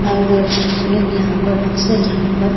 और लोग यहाँ पर अक्सर यहाँ पर --